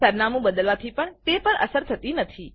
સરનામું બદલવાથી પણ તે પર અસર થતી નથી